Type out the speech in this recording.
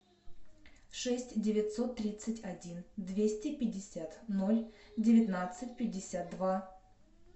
шесть девятьсот тридцать один двести пятьдесят ноль девятнадцать пятьдесят два